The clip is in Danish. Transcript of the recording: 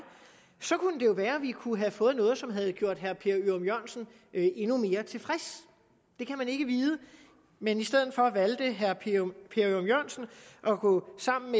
så kunne det jo være at vi kunne have fået noget som havde gjort herre per ørum jørgensen endnu mere tilfreds det kan man ikke vide men i stedet for valgte herre per ørum jørgensen at gå sammen